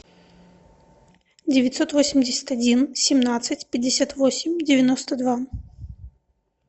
девятьсот восемьдесят один семнадцать пятьдесят восемь девяносто два